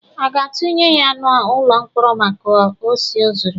A ga-atunye ya n'ụlọ mkpọrọ maka osi o zuru?